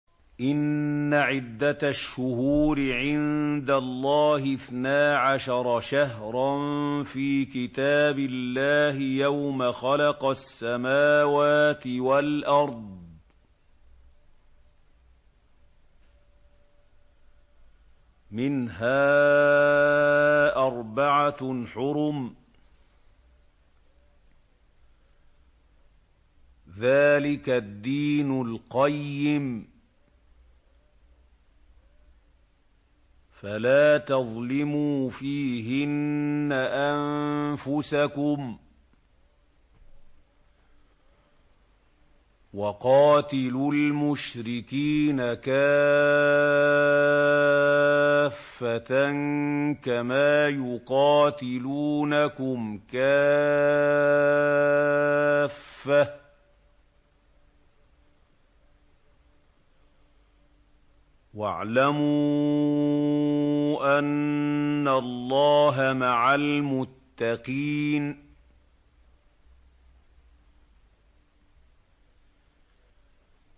إِنَّ عِدَّةَ الشُّهُورِ عِندَ اللَّهِ اثْنَا عَشَرَ شَهْرًا فِي كِتَابِ اللَّهِ يَوْمَ خَلَقَ السَّمَاوَاتِ وَالْأَرْضَ مِنْهَا أَرْبَعَةٌ حُرُمٌ ۚ ذَٰلِكَ الدِّينُ الْقَيِّمُ ۚ فَلَا تَظْلِمُوا فِيهِنَّ أَنفُسَكُمْ ۚ وَقَاتِلُوا الْمُشْرِكِينَ كَافَّةً كَمَا يُقَاتِلُونَكُمْ كَافَّةً ۚ وَاعْلَمُوا أَنَّ اللَّهَ مَعَ الْمُتَّقِينَ